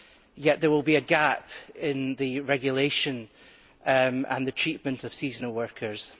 yet there will be a gap in the regulation and the treatment of seasonal workers.